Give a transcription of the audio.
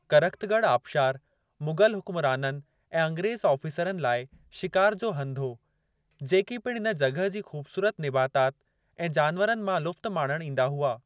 करख़्तॻढ़ आबिशार मुग़लु हुक्मराननि ऐं अंग्रेज़ु आफ़ीसरनि लाइ शिकारु जो हंधि हो, जेकी पिणु इन जॻहि जी ख़ूबसूरत निबातात ऐं जानवरनि मां लुत्फ़ माणणु ईंदा हुआ।